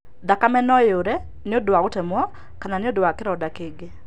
Thakame no iure nĩ ũndũ wa gũtemwo kana nĩ ũndũ wa kĩronda Kĩngĩ.